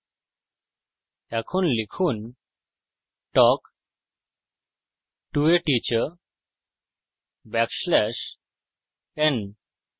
এখন লিখুন talk to a teacher backslash n